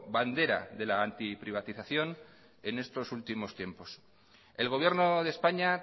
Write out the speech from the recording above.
bandera de la antiprivatización en estos últimos tiempos el gobierno de españa